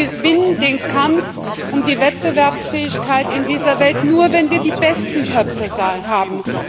Wir gewinnen den Kampf um die Wettbewerbsfähigkeit in dieser Welt nur, wenn wir die besten Köpfe haben.